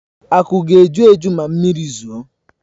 Aku ga-eju eju ma mmiri zoo.